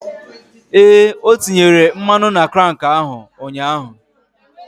Ee, o tinyere mmanụ na krank ahụ ụnyaahụ.